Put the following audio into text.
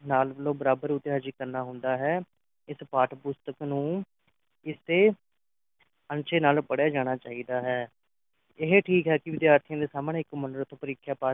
ਨਾਲ ਵੱਲੋਂ ਬਰਾਬਰ ਉਤੇ ਆਜੀਂ ਕਰਨਾ ਹੁੰਦਾ ਹੈਂ ਇਸ ਪਾਠ-ਪੁਸਤਕ ਨੂ ਇਸ ਦੇ ਅਣਛੁਏ ਨਾਲ ਪੜ੍ਹਿਆ ਜਾਣਾ ਚਾਹੀਦਾ ਹੈ ਇਹ ਠੀਕ ਹੈ ਕਿ ਵਿਦਿਆਰਥੀਆਂ ਦੇ ਸਾਹਮਣੇ ਇੱਕ ਮਨੋਰਥ ਪ੍ਰੀਖਿਆ pass